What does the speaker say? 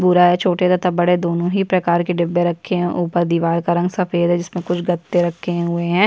भूरा है छोटे तथा बड़े दोनों ही प्रकार के डिब्बे रखे है और ऊपर दिवार का रंग सफ़ेद है जिस मे कुछ गत्ते रखे हुए है।